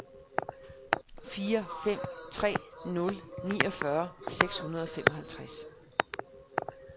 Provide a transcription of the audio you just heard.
fire fem tre nul niogfyrre seks hundrede og femoghalvtreds